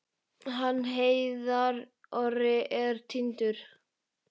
Hann Heiðar Orri er týndur.